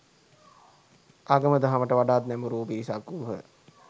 ආගම දහමට වඩාත් නැඹුරුවූ පිරිසක් වූහ